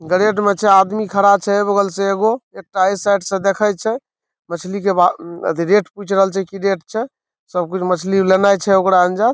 grade मे छै आदमी खड़ा छै ए बगल से एगो | एकटा ए साइड से देखय छै मछली के भाव आथि रेट पूछ रहल छै की रेट छै सब कुछ मछली लेनाय छै ओकरा आंज --